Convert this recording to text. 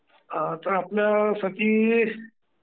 हा आता आपल्यासाठी...